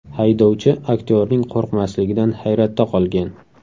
Haydovchi aktyorning qo‘rqmasligidan hayratda qolgan.